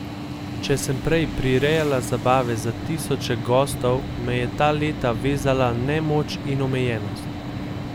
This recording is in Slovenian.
Če sem prej prirejala zabave za tisoče gostov, me je ta leta vezala nemoč in omejenost.